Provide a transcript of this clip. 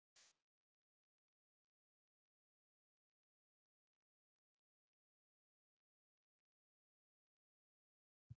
Einn þeirra sem margt skrifaði fyrir Árna var frændi hans